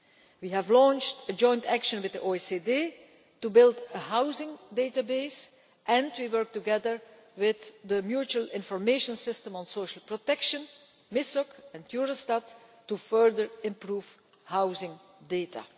year. We have launched a joint project with the OECD to build a housing database entry and we are working together with the Mutual Information System on Social Protection and Eurostat to further improve housing